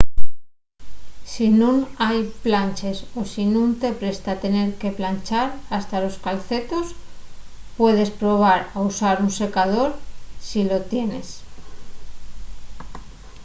si nun hai planches o si nun te presta tener que planchar hasta los calcetos puedes probar a usar un secador si lu tienes